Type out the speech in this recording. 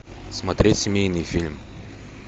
смотреть семейный фильм